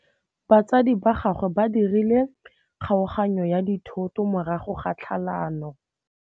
Batsadi ba gagwe ba dirile kgaoganyô ya dithoto morago ga tlhalanô.